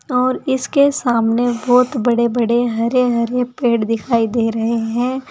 और इसके सामने बहोत बड़े बड़े हरे हरे पेड़ दिखाई दे रहे हैं।